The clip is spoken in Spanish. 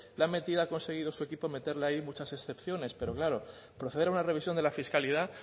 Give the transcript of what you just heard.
la ha metido ha conseguido su equipo meterla ahí y muchas excepciones pero claro proceder a una revisión de la fiscalidad